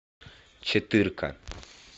четырка